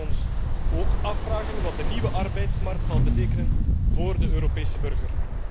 We moeten ons ook afvragen wat de nieuwe arbeidsmarkt zal betekenen voor de Europese burger.